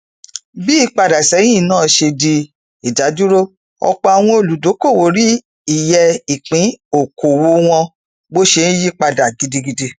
bí ìpadàsẹhìn náà ṣe di ìdádúró ọpọ àwọn olùdókòwò rí iyẹ ìpín okòwò wọn bó ṣe ńyí padà gidigidi